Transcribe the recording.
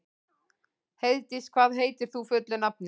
Heiðdís, hvað heitir þú fullu nafni?